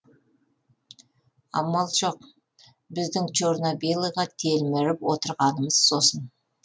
амал жоқ біздің черно белыйға телміріп отырғанымыз сосын